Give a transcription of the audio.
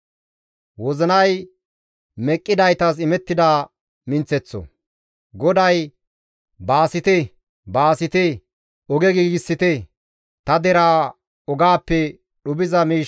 GODAY, «Baasite, baasite! Oge giigsite; ta deraa ogaappe dhuphiza miish ubbaa diggite» gees.